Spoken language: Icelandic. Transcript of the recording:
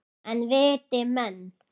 En viti menn!